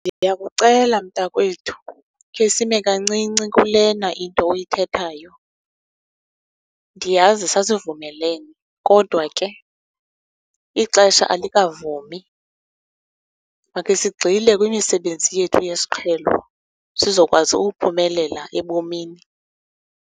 Ndiyakucela, mntakwethu, khe sime kancinci kulena into oyithethayo. Ndiyazi sasivumelene, kodwa ke ixesha alikavumi. Makhe sigxile kwimisebenzi yethu yesiqhelo sizokwazi ukuphumelela ebomini.